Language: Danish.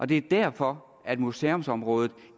det er derfor at museumsområdet